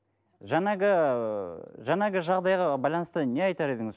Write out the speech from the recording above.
жаңағы ыыы жаңағы жағдайға байланысты не айтар едіңіз